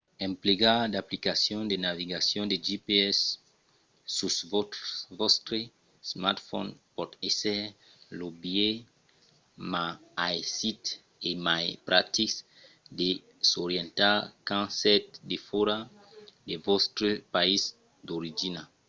emplegar d’aplicacions de navegacion de gps sus vòstre smartphone pòt èsser lo biais ma aisit e mai practic de s’orientar quand sètz defòra de vòstre país d’origina